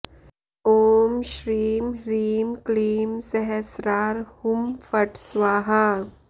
ॐ श्रीं ह्रीं क्लीं सहस्रार हुं फट् स्वाहा